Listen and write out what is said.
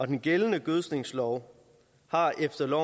den gældende gødskningslov har efter